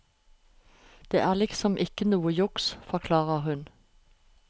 Det er liksom ikke noe juks, forklarer hun.